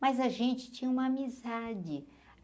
Mas a gente tinha uma amizade.